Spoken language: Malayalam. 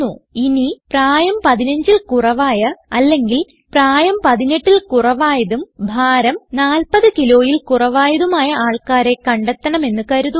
ഇനി പ്രായം 15 ൽ കുറവായ അല്ലെങ്കിൽ പ്രായം 18ൽ കുറവായതും ഭാരം 40 kgയിൽ കുറവായതുമായ ആൾക്കാരെ കണ്ടെത്തണം എന്ന് കരുതുക